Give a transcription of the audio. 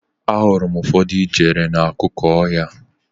Ahụrụ m ụfọdụ ijere n'akụkụ ọhịa.